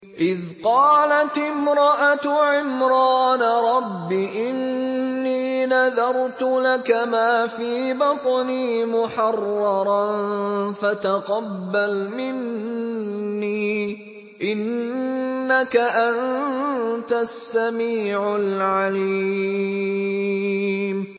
إِذْ قَالَتِ امْرَأَتُ عِمْرَانَ رَبِّ إِنِّي نَذَرْتُ لَكَ مَا فِي بَطْنِي مُحَرَّرًا فَتَقَبَّلْ مِنِّي ۖ إِنَّكَ أَنتَ السَّمِيعُ الْعَلِيمُ